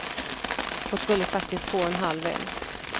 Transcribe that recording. Hon skulle faktiskt få en halv älg.